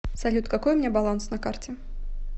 салют какой у меня баланс на карте